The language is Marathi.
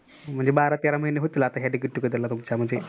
म्हणजे बारा तेरा महिने होतील तुमचं get together ला तुमच्या म्हणचे